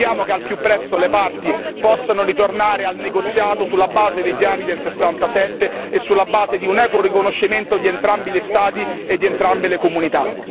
Auspichiamo che al più presto le parti possano ritornare al negoziato sulla base dei piani del 1967 e sulla base di un equo riconoscimento di entrambi gli Stati e di entrambe le comunità.